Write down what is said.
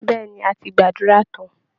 Bẹ́ẹ̀ ni, a ti gbàdúrà tán